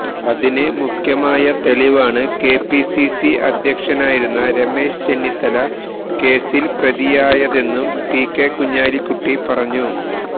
അതിന് മുഖ്യമായ തെളിവാണ് കെപിസിസി അധ്യക്ഷനായിരുന്ന രമേശ് ചെന്നിത്തല കേസില് പ്രതിയായതെന്നും പികെ കുഞ്ഞാലിക്കുട്ടി പറഞ്ഞു